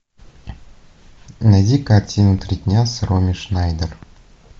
найди картину три дня с роми шнайдер